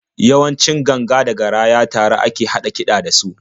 Yawanci ganga da garaya tare a ke haɗa kiɗa da su.